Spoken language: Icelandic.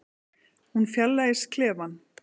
Hún fjarlægist klefann.